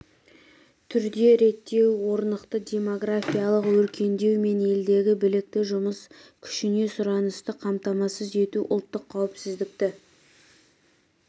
түрде реттеу орнықты демографиялық өркендеу мен елдегі білікті жұмыс күшіне сұранысты қамтамасыз ету ұлттық қауіпсіздікті